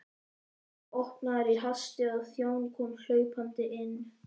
Dyrnar voru opnaðar í hasti og þjónn kom hlaupandi inn.